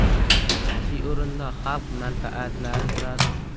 Asosiy o‘rinda xalq manfaatlari turadi.